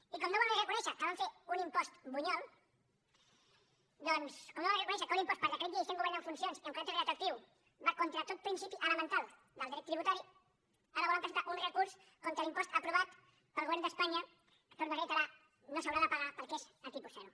i com no volen reconèixer que van fer un impost bunyol doncs com no volen reconèixer que un impost per decret llei sent govern en funcions i amb caràcter retroactiu va contra tot principi elemental del dret tributari ara volen presentar un recurs contra l’impost aprovat pel govern d’espanya que ho torno a reiterar no s’haurà de pagar perquè és a tipus zero